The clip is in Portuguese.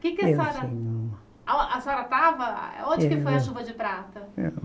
Que que a senhora... A a senhora estava... onde que foi a chuva de prata?